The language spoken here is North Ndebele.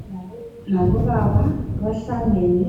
Omama labobaba bahlangene,